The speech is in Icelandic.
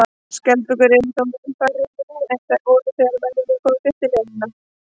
Skjaldbökurnar eru þó mun færri nú en þær voru þegar mennirnir komu fyrst til eyjanna.